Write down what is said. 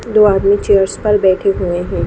दो आदमी चेयर्स पर बैठे हुए हैं।